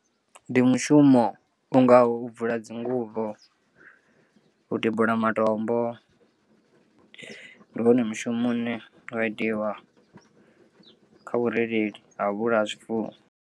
Ndi mushumo u ngaho u bvula dzinguvho, u tibula matombo ndi wone mushumo une wa itiwa kha vhurereli ha vhulaya zwifuwo.